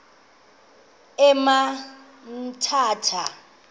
emthatha